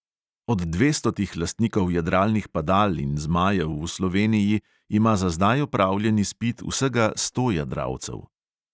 Od dvestotih lastnikov jadralnih padal in zmajev v sloveniji ima za zdaj opravljen izpit vsega sto jadralcev.